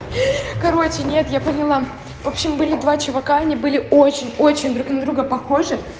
короче нет я поняла в общем были два чувака они были очень очень друг на друга похожи